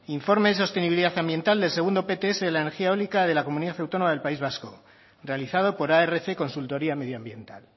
informe de sostenibilidad ambiental del segundo pts de la energía eólica de la comunidad autónoma del país vasco realizado por arc consultoría medioambiental